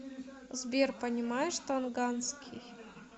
сбер понимаешь тонганский